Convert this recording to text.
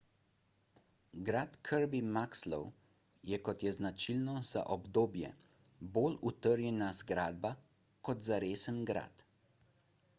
grad kirby muxloe je kot je značilno za obdobje bolj utrjena zgradba kot zaresen grad